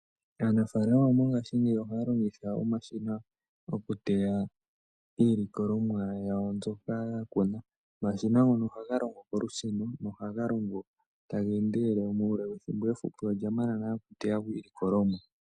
Aanafalama mongashingeyi ohaya longitha omashina okuteya iilikolomwa yawo mbyoka ya kuna, omashina ngono ohaga longo kolusheno ohaga longo ta geendelele muule wethimbo efupi olya mana nale okuteyako iilikolomwa.